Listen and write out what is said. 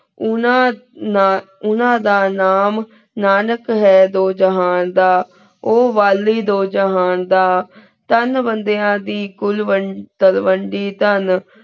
ਉਨਾ ਦਾ ਨਾਮ ਨਾਨਿਕ ਹੈਂ ਦੋ ਜੇਹਨ ਦਾ ਉ ਵਾਲੀ ਦੁ ਜੇਹਨ ਦਾ ਚੰਦ ਬੇੰਦੇਯਾਂ ਦੀ ਕੁਲ ਥਾਂ ਵੇੰਡੀ ਤੇੰ